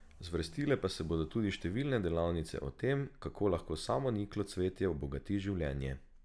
Zvrstile pa se bodo tudi številne delavnice o tem, kako lahko samoniklo cvetje obogati življenje.